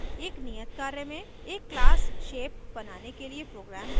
एक नियत कार्य में एक class shape बनाने के लिए program लिखें